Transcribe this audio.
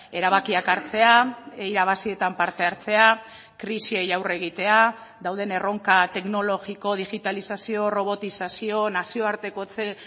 erabakiak hartzea irabazietan parte hartzea krisiei aurre egitea dauden erronka teknologiko digitalizazio robotizazio nazioartekotze